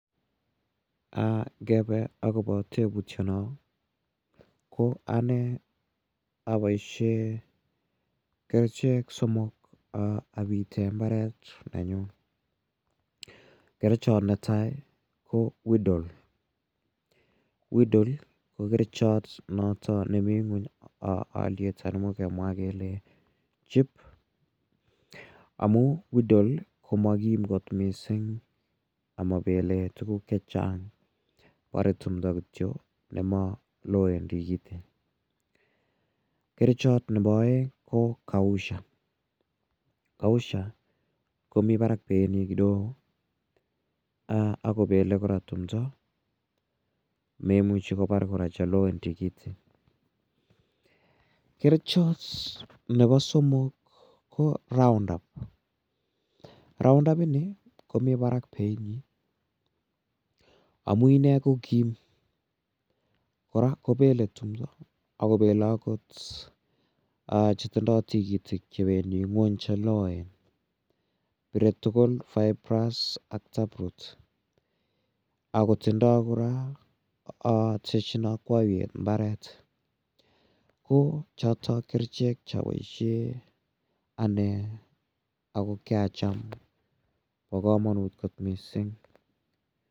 Ngebe akobo tebutyono ko ane aboishe kerichek somok abite mbaret nenyu kerichot netai ko [weed all weed all ko kerichot noto nemi ng'weny oliet ana kemwa kele cheap amu weed all komakim kot mising' amabelei tukuk chechang' borei tumdo kityo nemaloen tikitik kerichot nebo oeng' ko Kaushal Kaushal komi barak bei nyi kidogo akobelei kora tumdo meimuchi kobar kora cheloen tikitik kerichot nebo somok ko roundup roundup ni komi barak bei nyi amu ine kokim kora kobelei tumdo akobelei akot chetindoi tikitik chebendi ng'weny cheloen pirei tugul fibrous ak taproot akotindoi kora teshini okwoiyet mbaret ko chotok kerichek chaboishe ane ako kiacham no komonut kot mising'